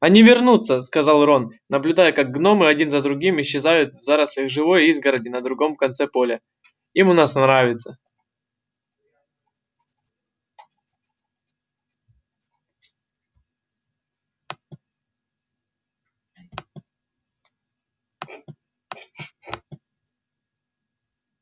они вернутся сказал рон наблюдая как гномы один за другим исчезают в зарослях живой изгороди на другом конце поля им у нас нравится